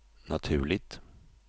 naturligt